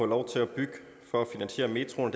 lov til at bygge for at finansiere metroen